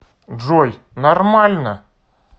джой нормально